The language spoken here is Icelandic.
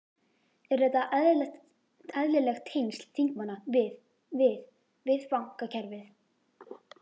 Eru þetta eðlileg tengsl þingmanna við, við, við bankakerfið?